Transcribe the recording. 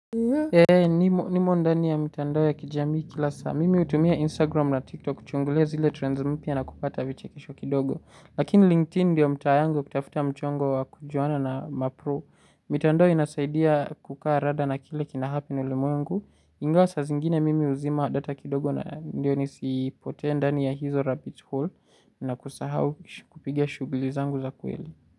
Eee, nimo ndani ya mitandao ya kijamii kila saa. Mimi utumia Instagram na TikTok kuchungulia zile trends mpya na kupata vichekisho kidogo. Lakini LinkedIn ndio mtaa yangu kutafuta mchongo wa kujuana na mapro. Mitandao inasaidia kukaa rada na kile kinahappen ulimwengu. Ingawa sa zingine mimi uzima data kidogo na ndio nisi potee ndani ya hizo rabbit hole na kusahau kupiga shugulizangu za kweli.